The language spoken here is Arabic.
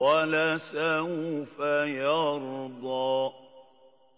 وَلَسَوْفَ يَرْضَىٰ